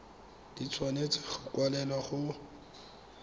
di tshwanetse go kwalelwa go